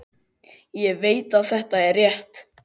Ég veit að þetta er rétt.